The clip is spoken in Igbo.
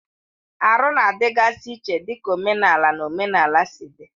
Arụ na-adịgasị iche dịka omenala na omenala si dị.